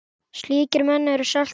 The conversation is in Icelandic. Slíkir menn eru salt jarðar.